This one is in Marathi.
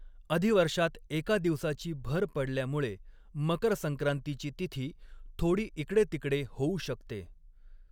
अधिवर्षात एका दिवसाची भर पडल्यामुळे, मकर संक्रांतीची तिथी थोडी इकडेतिकडे होऊ शकते.